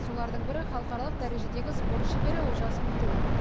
солардың бірі халықаралық дәрежедегі спорт шебері олжас мутынов